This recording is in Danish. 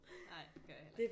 Ej det gør jeg heller ikke